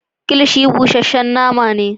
Kilishi busashen nama ne.